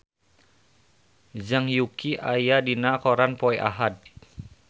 Zhang Yuqi aya dina koran poe Ahad